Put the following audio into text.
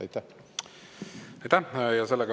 Aitäh!